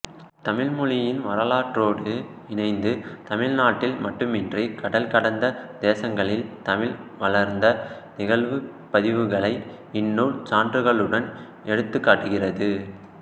தமிழ்மொழியின் வரலாற்றோடு இணைத்து தமிழ்நாட்டில் மட்டுமின்றி கடல் கடந்த தேசங்களில் தமிழ் வளர்ந்த நிகழ்வுப் பதிவுகளை இந்நூல் சான்றுகளுடன் எடுத்துக்காட்டுகிறது